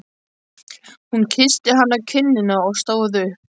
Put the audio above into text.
Hún kyssti hann á kinnina og stóð upp.